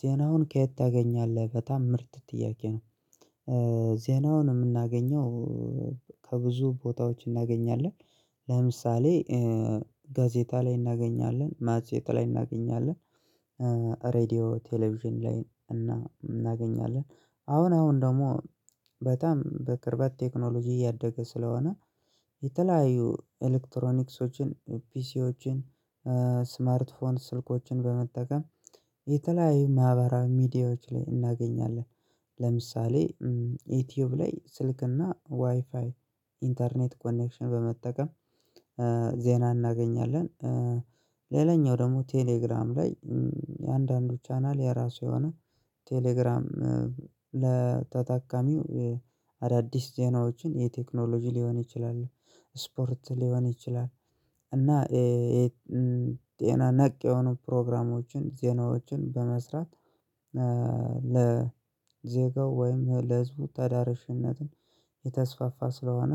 ዜናውን ከየት ታገኛለህ በጣም ምርጥ ጥያቄ ነው? ዜናውን የምናገኘው። ከብዙ ቦታዎች እናገኛለን። ለምሳሌ ጋዜጣ ላይ እናገኛለን ማጼት ላይ እናገኛለን። ሬድዮ ቴሌቪዥን ላይ እናገኛለን። አሁን አሁን ደግሞ በጣም በቅርበት ቴክኖሎጂ እያደገ ስለሆነ የተለያዩ ኤሌክትሮኒክሶችን ፒሲዎችን ስማርት ስልኮችን በመጠቀም የተለያዩ ማህበራዊ ሚዲያዎች ላይ እናገኛለን። ለምሳሌ ዩቲዩብ ላይ ስልክና ዋይፋይ ኢንተርኔት ኮኔክሽን በመጠቀም ዜና እናገኛለን። ሌላኛው ደግሞ ቴሌግራም ላይ የአንዳንዱ ቻናል የራሱ የሆነ ቴሌግራም ለተጠቃሚው አዳዲስ ዜናዎችን የቴክኖሎጂ ሊሆን ይችላል። ስፖርት ሊሆን ይችላል። እና የጤና ነክ የሆኑ ፕሮግራሞችን ዜናዎችን በመስራት። ለዜጋው ወይም ለህዝቡ ተዳርሽነትን የተስፋፋ ስለሆነ